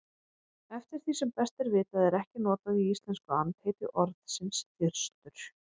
Eftir því sem best er vitað er ekki notað í íslensku andheiti orðsins þyrstur.